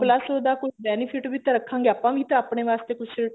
plus ਉਹਦਾ ਕੋਈ benefit ਵੀ ਤਾਂ ਰੱਖਾਂਗੇ ਆਪਾਂ ਵੀ ਤਾਂ ਆਪਣੇ ਵਾਸਤੇ ਕੁੱਛ